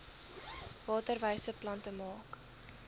waterwyse plante maak